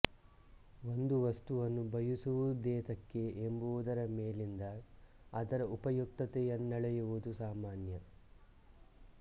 ಒಂದು ವಸ್ತುವನ್ನು ಬಯಸುವುದೇತಕ್ಕೆ ಎಂಬುದರ ಮೇಲಿಂದ ಅದರ ಉಪಯುಕ್ತತೆಯನ್ನ ಳೆಯುವುದು ಸಾಮಾನ್ಯ